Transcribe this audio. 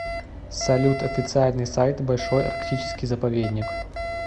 салют официальный сайт большой арктический заповедник